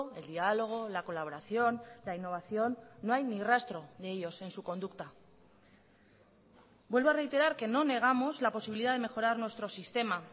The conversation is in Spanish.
el diálogo la colaboración la innovación no hay ni rastro de ellos en su conducta vuelvo a reiterar que no negamos la posibilidad de mejorar nuestro sistema